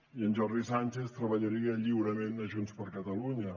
i en jordi sànchez treballaria lliurement a junts per catalunya